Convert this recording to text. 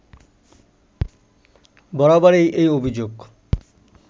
বরাবরই এ অভিযোগ